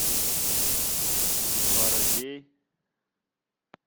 воробей